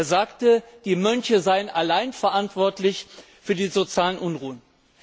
Er sagte, die Mönche seien allein verantwortlich für die sozialen Unruhen.